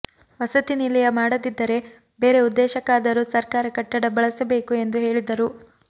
ವಸತಿ ನಿಲಯ ಮಾಡದಿದ್ದರೆ ಬೇರೆ ಉದ್ದೇಶಕ್ಕಾದರೂ ಸರ್ಕಾರ ಕಟ್ಟಡ ಬಳಸಬೇಕು ಎಂದು ಹೇಳಿದರು